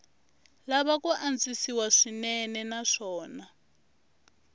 lava ku antswisiwa swinene naswona